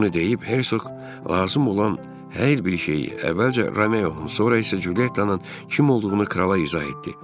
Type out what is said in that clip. Bunu deyib Hersoq lazım olan hər bir şeyi əvvəlcə Romeonun sonra isə Culyettanın kim olduğunu krala izah etdi.